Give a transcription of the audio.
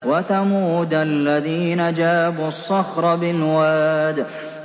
وَثَمُودَ الَّذِينَ جَابُوا الصَّخْرَ بِالْوَادِ